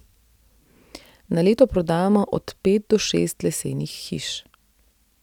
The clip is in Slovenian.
Na leto prodamo od pet do šest lesenih hiš.